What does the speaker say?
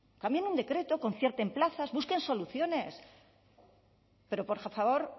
cambien el decreto concierten plazas busquen soluciones pero por favor